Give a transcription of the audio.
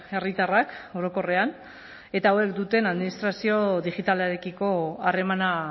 herritarrak orokorrean eta hauek duten administrazio digitalarekiko harremana